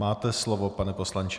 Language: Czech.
Máte slovo, pane poslanče.